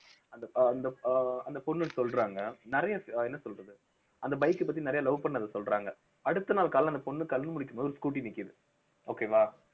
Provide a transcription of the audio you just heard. அந்த அஹ் அந்த அஹ் பொண்ணு சொல்றாங்க நிறைய என்ன சொல்றது அந்த bike அ பத்தி நிறைய love பண்ணத சொல்றாங்க அடுத்த நாள் காலையில அந்த பொண்ணு கண்ணு முழிக்கும் போது scooty நிக்குது okay வா